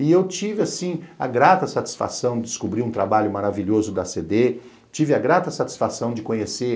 E eu tive, assim, a grata satisfação de descobrir um trabalho maravilhoso da a ce dê, tive a grata satisfação de conhecer